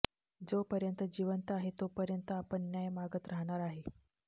जोपर्यंत जीवंत आहे तोपर्यंत आपण न्याय मागत राहणार आहे